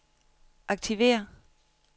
aktiver